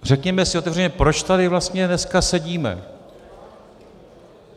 Řekněme si otevřeně, proč tady vlastně dneska sedíme.